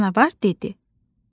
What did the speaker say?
Canavar dedi: